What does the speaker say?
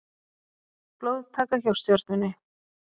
Blóðtaka hjá Stjörnunni